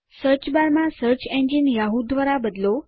search bar માં search engine Yahoo દ્વારા બદલો